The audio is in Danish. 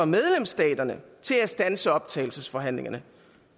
medlemsstaterne til at standse optagelsesforhandlingerne